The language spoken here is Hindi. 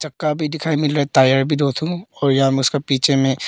चक्का भी दिखाई मिल रहा है टायर भी दो ठो उसका पीछे में।